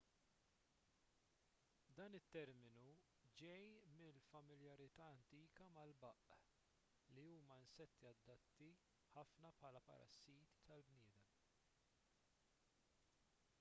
dan it-terminu ġej mill-familjarità antika mal-baqq li huma insetti adatti ħafna bħala parassiti tal-bnedmin